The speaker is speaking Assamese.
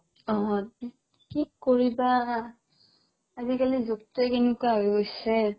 অ অ কি কৰিবা আজিকালি যুগতোয়ে কেনেকুৱা হৈ গৈছে